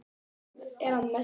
Næst hvítu að innan er æða.